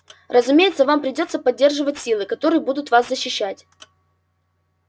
разумеется вам придётся поддерживать силы которые будут вас защищать